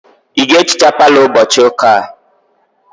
Ị ga-ehicha palọ ụbọchị ụka a?